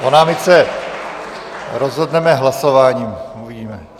O námitce rozhodneme hlasováním, uvidíme.